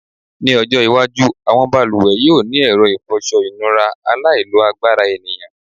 Ní ọjọ́́-iwájú àwọn balùwẹ̀ yóò ní ẹ̀rọ ìfọṣọ-ìnura aláìlo-agbára ènìyàn.